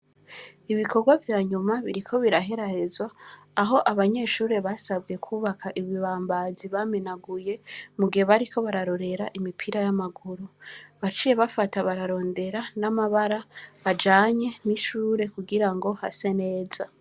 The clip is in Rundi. Ibikorwa vyanyuma biriko biraherehezwa aho banyeshure basabwe kubaka ibibambazi bamenaguye mugihe bariko bararorera imipira yamaguru, baciye bafata bararondera n'amabara ajanye nishure kugira ngo hase neza.